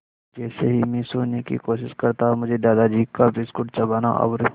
जैसे ही मैं सोने की कोशिश करता मुझे दादाजी का बिस्कुट चबाना और